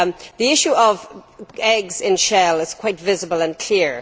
The issue of eggs in shell is quite visible and clear.